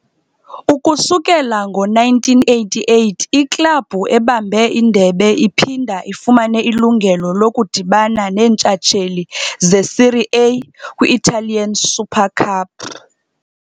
Ukususela ngo-1988, iklabhu ebambe indebe iphinda ifumane ilungelo lokudibana neentshatsheli zeSerie A kwi-Italian Super Cup.